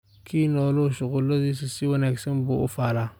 Kii noolu shuqulladiisa si wanaagsan buu u falaa